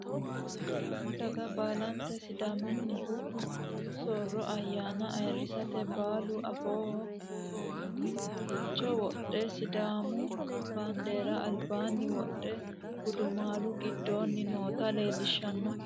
Sidaamu daga baalanti sidaamuniha diru sooro ayaana ayirisate baalau afooho tuiraaancho wodhe sidaamu bandeera albaani wodhe gudumaalu gidooni noota leelishano.